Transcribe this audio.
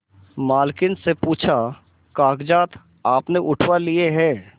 मालकिन से पूछाकागजात आपने उठवा लिए हैं